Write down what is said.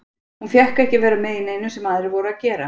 Hún fékk ekki að vera með í neinu sem aðrir voru að gera.